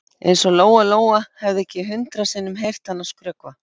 Eins og Lóa Lóa hefði ekki hundrað sinnum heyrt hana skrökva.